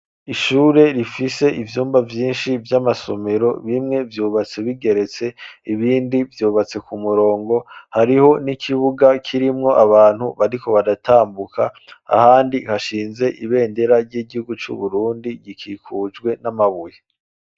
Ishure rifise ivyumba vyinshi vy'amasomero bimwe vyubatse bigeretse ibindi vyubatse ku murongo hariho n'ikibuga kirimwo abantu bariko baratambuka ahandi hashinze ibendera ry'igihugu c'uburundi gikikujwe n'amabuye.